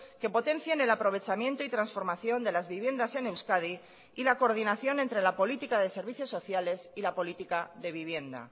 que potencien el aprovechamiento y transformación de las viviendas en euskadi y la coordinación entre la política de servicios sociales y la política de vivienda